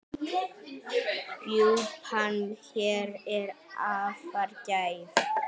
Rjúpan hér er afar gæf.